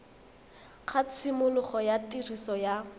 ga tshimologo ya tiriso ya